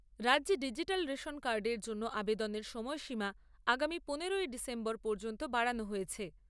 রাজ্যে digital ration কার্ডের জন্য আবেদনের সময়সীমা আগামী পনেরোই ডিসেম্বর পর্যন্ত বাড়ানো হয়েছে।